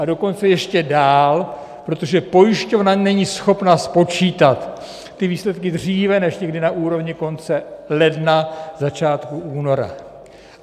A dokonce ještě dál, protože pojišťovna není schopna spočítat ty výsledky dříve než někdy na úrovni konce ledna, začátku února.